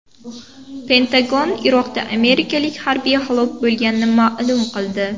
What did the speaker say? Pentagon Iroqda amerikalik harbiy halok bo‘lganini ma’lum qildi.